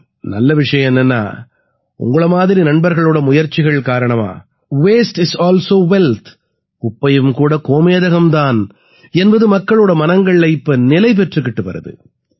நல்ல விஷயம் என்னென்னா உங்களை மாதிரி நண்பர்களோட முயற்சிகள் காரணமா வாஸ்டே இஸ் அல்சோ வெல்த் குப்பையும் கூட கோமேதகம் தான் என்பது மக்களோட மனங்கள்ல இப்ப நிலை பெற்றுக்கிட்டு வருது